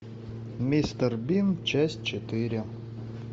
мистер бин часть четыре